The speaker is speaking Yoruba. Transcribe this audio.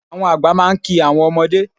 Àwọn àgbà máa ń ki àwọn ọmọdé